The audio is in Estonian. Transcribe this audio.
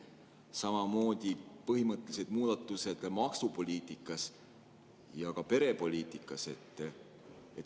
Samamoodi tegite põhimõttelised muudatused maksupoliitikas ja perepoliitikas.